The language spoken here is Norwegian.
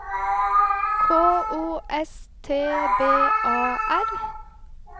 K O S T B A R